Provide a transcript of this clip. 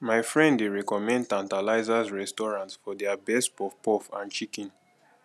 my friend dey recommend tantalizers restaurant for their best puffpuff and chicken